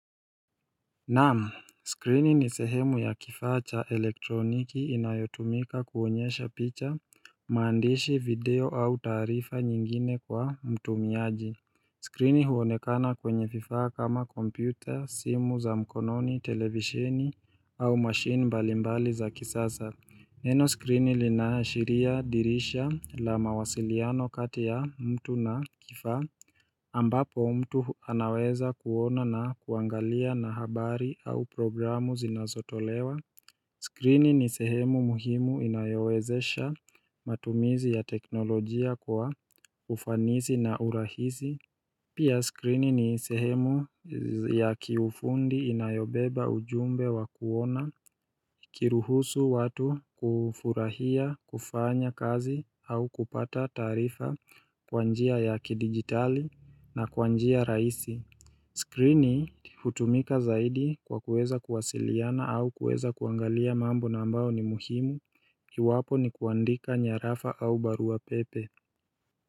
Naam, skrini ni sehemu ya kifaa cha elektroniki inayotumika kuonyesha picha, maandishi video au taarifa nyingine kwa mtumiaji Skrini huonekana kwenye vifaa kama kompyuta, simu za mkononi, televisheni au mashine mbalimbali za kisasa. Neno skrini linaashiria dirisha la mawasiliano kati ya mtu na kifaa ambapo mtu anaweza kuona na kuangalia habari au programu zinazotolewa Skrini ni sehemu muhimu inayowezesha matumizi ya teknolojia kwa ufanisi na urahisi Pia skrini ni sehemu ya kiufundi inayobeba ujumbe wa kuona kuruhusu watu kufurahia kufanya kazi au kupata taarifa kwa njia ya kidijitali na kwa njia rahisi Skrini hutumika zaidi kwa kuweza kuwasiliana au kuweza kuangalia mambo ambayo ni muhimu iwapo ni kuandika nyarafa au barua pepe.